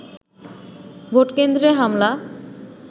ভোটকেন্দ্রে হামলা